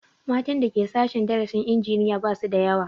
Matan da Ke sashen darasin injiniya ba su da yawa